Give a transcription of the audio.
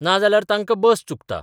नाजाल्यार तांकां बस चुकता.